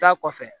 Taa kɔfɛ